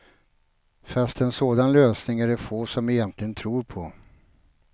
Fast en sådan lösning är det få som egentligen tror på.